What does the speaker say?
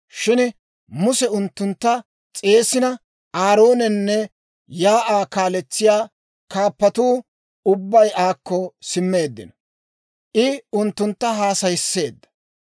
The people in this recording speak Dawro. Shin Muse unttuntta s'eessina Aaroonenne shiik'uwaa kaaletsiyaa kaappatuu ubbay aakko simmeeddino; I unttuntta haasayisseedda.